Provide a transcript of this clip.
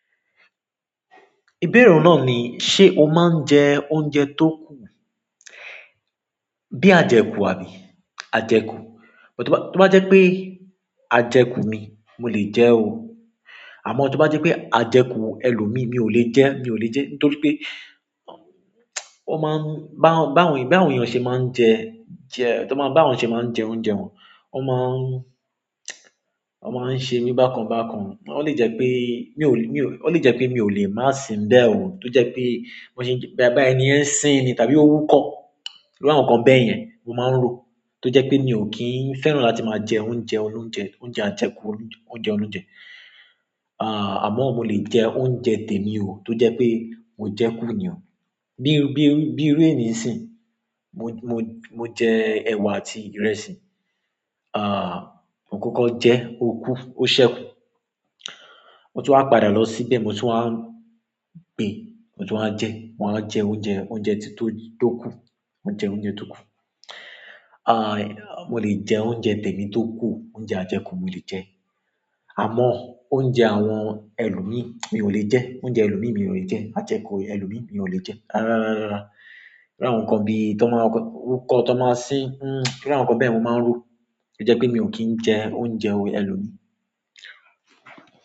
Ìbéèrè rẹ náà ni, ṣe o máa ń jẹ oúnjẹ tó kù? Bí ajẹkù àbí? Ajẹkù. Tó bá jẹ́ pé ajẹkù mi, mo lè jẹ́ o. Àmọ́ tó bá jẹ́ pé ajẹkù ẹlòmí, mi ò lè jẹ́, mi ò lè jẹ́. Nítorí pé ó máa ń bá àwọn èèyàn ṣe máa ń jẹ oúnjẹ wọn, ó máa ń ṣe mí bákan bákan. Ó lè jẹ́ pé mi ò lè máa si n bẹ́ẹ̀ ò. Tó jẹ́ pé boya ẹniyen sín ni tàbí ó wúkọ̀, irú àwọn nǹkan bẹ́ẹ̀ yẹn mo máa ń rò. Tó jẹ́ pé mi ò kí ń fẹ́ràn láti máa jẹ oúnjẹ olóunjẹ, oúnjẹ ajẹkù óunjẹ olounjẹ. Àmọ́ mo lè jẹ oúnjẹ tèmi o, tó jẹ́ pé mo jẹ kú nì o. Bí iru ènì n sin, mo jẹ ẹ̀wà àti ìrẹsì, mo kọkọ jẹ ò kú, ó ṣẹ́kù. Mo tun wá padà lọ síbẹ̀, mo tun wá gbe, mo tun wá jẹ, ma wáa jẹ oúnjẹ tó tu kù. Mo lè jẹ oúnjẹ tèmi tó kù, oúnjẹ ajẹkù mo lè jẹ. Àmọ́ oúnjẹ àwọn ẹlòmí, mi ò lè jẹ. Oúnjẹ ẹlòmí mi ò lè jẹ. Ajẹkù ẹlòmí mi ò lè jẹ. Rárá, rárá, rárá. Irú àwọn nǹkan bí i tan bá ń wúkọ̀, tan ba ń sín, irú àwọn nǹkan bẹ́ẹ̀ yen ni mo máa ń rò. Ó jẹ́ pé mi ò kí ń jẹ oúnjẹ ẹlòmí.